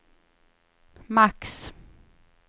max